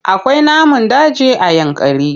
Akwai namun daji a Yankari.